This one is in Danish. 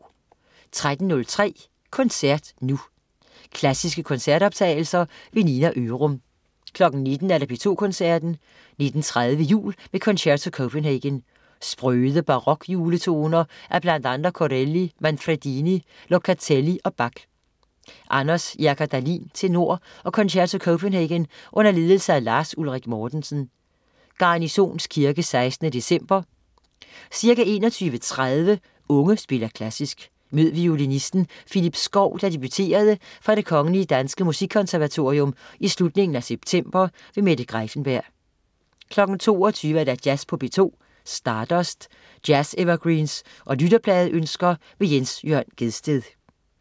13.03 Koncert nu. Klassiske koncertoptagelser. Nina Ørum 19.00 P2 Koncerten. 19.30 Jul med Concerto Copenhagen. Sprøde barok-juletoner af bl.a. Corelli, Manfredini, Locatelli og Bach. Anders Jerker Dahlin, tenor og Concerto Copenhagen under ledelse af Lars Ulrik Mortensen. (Garnisons Kirke 16. december). Ca. 21.30 Unge spiller Klassisk. Mød violinisten Phillippe Skow, der debuterede fra Det Kgl. Danske Musikkonservatorium i slutningen af september. Mette Greiffenberg 22.00 Jazz på P2. Stardust. Jazz-evergreens og lytterpladeønsker. Jens Jørn Gjedsted